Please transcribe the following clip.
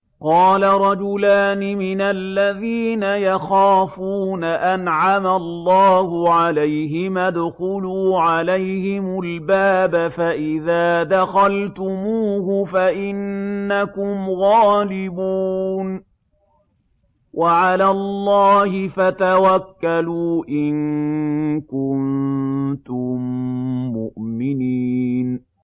قَالَ رَجُلَانِ مِنَ الَّذِينَ يَخَافُونَ أَنْعَمَ اللَّهُ عَلَيْهِمَا ادْخُلُوا عَلَيْهِمُ الْبَابَ فَإِذَا دَخَلْتُمُوهُ فَإِنَّكُمْ غَالِبُونَ ۚ وَعَلَى اللَّهِ فَتَوَكَّلُوا إِن كُنتُم مُّؤْمِنِينَ